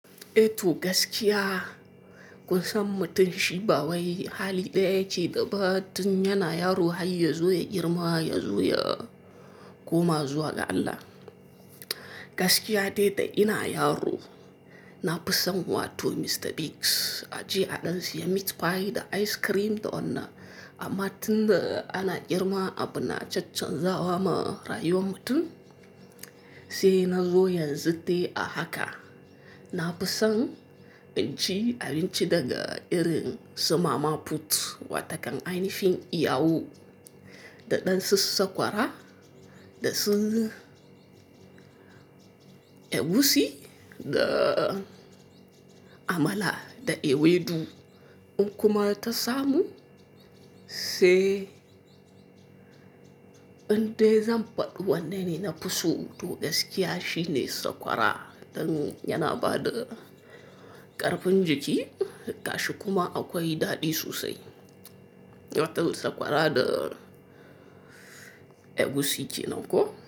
Eto gaskiya, kun san mutum shi bawai hali ɗaya yake da ba tun yana yaro har ya zo ya girma ya zo ya koma zuwa ga Allah. Gaskiya dai da ina yaro, na fi son wato Mr. Bigs a je a ɗan siya meat pie da ice cream da wannan. Amma tun da ana girma abuna caccanzawa ma rayuwar mutum, sai na zo yanzu dai a haka. Na fi son ɗan ci abinci daga irin su mama puut wata kan ainihin iyawo da ɗan susa sakwara da su egusi da amala da ewedu. In kuma ta samu sai in dai zan faɗi wanne ne nafi so. To gaskiya shi ne sakwara don yana ba da ƙarfin jiki. Gashi kuma akwai daɗi sosai. Wato sakwara da egusi kenan ko?